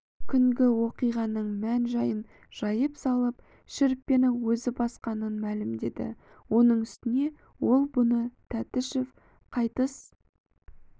күнгі оқиғаның мән-жайын жайып салып шүріппені өзі басқанын мәлімдеді оның үстіне ол бұны тәтішев қайтыс